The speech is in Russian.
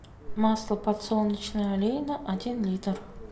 масло подсолнечное олейна один литр